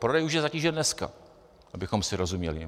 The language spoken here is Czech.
Prodej už je zatížen dneska, abychom si rozuměli.